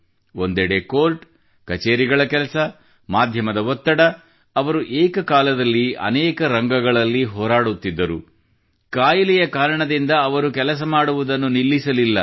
ಒಂದೆಡೆ ಕೋರ್ಟ್ ಕಚೇರಿಗಳ ಕೆಲಸ ಮಾಧ್ಯಮದ ಒತ್ತಡ ಅವರು ಏಕಕಾಲದಲ್ಲಿ ಅನೇಕ ರಂಗಗಳಲ್ಲಿ ಹೋರಾಡುತ್ತಿದ್ದರು ಕಾಯಿಲೆಯ ಕಾರಣದಿಂದ ಅವರು ಕೆಲಸ ಮಾಡುವುದನ್ನು ನಿಲ್ಲಿಸಲಿಲ್ಲ